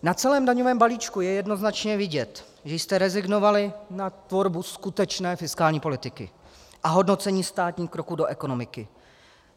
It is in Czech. Na celém daňovém balíčku je jednoznačně vidět, že jste rezignovali na tvorbu skutečné fiskální politiky a hodnocení státních kroků do ekonomiky.